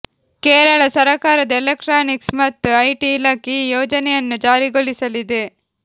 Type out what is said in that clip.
ಕೇರಳ ಸರಕಾರದ ಎಲೆಕ್ಟ್ರಾನಿಕ್ಸ್ ಮತ್ತು ಐಟಿ ಇಲಾಖೆ ಈ ಯೋಜನೆಯನ್ನು ಜಾರಿಗೊಳಿಸಲಿದೆ